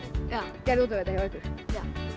gerði út um þetta hjá ykkur já